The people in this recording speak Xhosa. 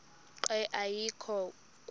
nqe ayekho kuba